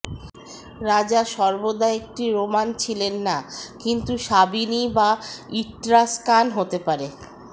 রাজা সর্বদা একটি রোমান ছিলেন না কিন্তু সাবিনি বা ইট্রাস্কান হতে পারে